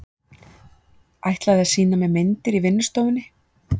Ætlaði að sýna mér myndir á vinnustofunni.